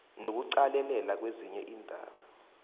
nokuqalelela nezinye iindaba